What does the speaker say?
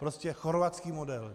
Prostě chorvatský model.